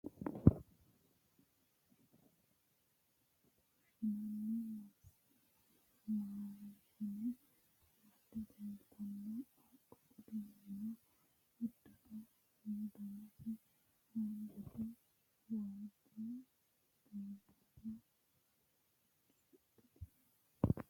Tini misilete aana leeltanni nooti qaaqqo waa balete giddonni fushshinanni maashine amadde leeltanno, qaaqqo uddidhino uddanono danase haanjate waajjo borsano suxxitino.